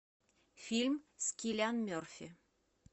фильм с киллиан мерфи